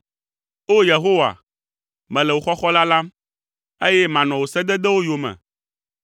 O! Yehowa, mele wò xɔxɔ lalam, eye manɔ wò sededewo yome.